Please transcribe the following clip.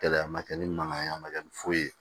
Kɛlɛya ma kɛ ni mankan ye a ma kɛ ni foyi ye